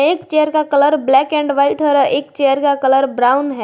एक चेयर का colour black and white है और एक चेयर का कलर ब्राउन है।